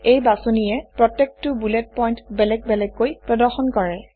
এই বাছনিয়ে প্ৰত্যেকটো বুলেট পইণ্ট বেলেগ বেলেগকৈ প্ৰদৰ্শন কৰে